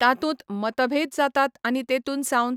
तातुंत मतभेद जातात आनी तेतुन सावन